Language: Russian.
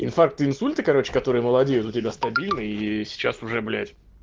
инфаркты инсульты короче которые молодеют у тебя стабильно и сейчас уже блять